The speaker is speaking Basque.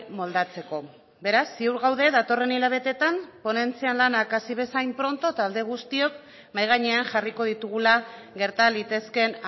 moldatzeko beraz ziur gaude datorren hilabeteetan ponentzian lanak hasi bezain pronto talde guztiok mahai gainean jarriko ditugula gerta litezkeen